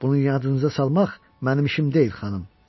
bunu yadınıza salmaq mənim işim deyil, xanım.